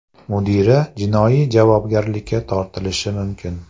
Mudira jinoiy javobgarlikka tortilishi mumkin.